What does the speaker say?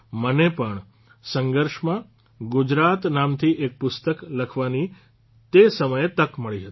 મને પણ સંઘર્ષમાં ગુજરાત નામથી એક પુસ્તક લખવાની તે સમયે તક મળી હતી